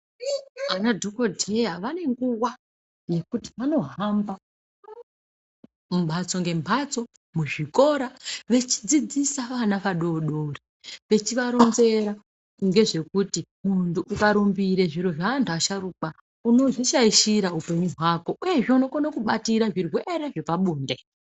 Ana dhokodheya vane nguwa yekuti vanohamba mumbatso ngembatso muzvikora vechidzidzisa vana vadodori vechivaronzera ngezvekuti munthu ukarumbire zviro zveanthu asharukwa unozvishaishira upenyu hwako uyezve unokone kubatira zvirwere zvepabonde.